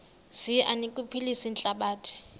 zi anokuphilisa ihlabathi